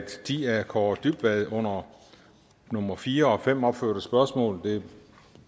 de af kaare dybvad under nummer fire og fem opførte spørgsmål